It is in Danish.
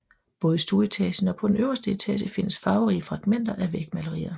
Både i stueetagen og på den øverste etage findes farverige fragmenter af vægmalerier